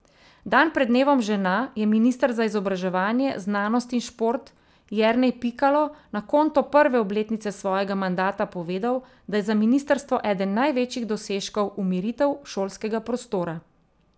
Dan pred dnevom žena je minister za izobraževanje, znanost in šport Jernej Pikalo na konto prve obletnice svojega mandata povedal, da je za ministrstvo eden največjih dosežkov umiritev šolskega prostora.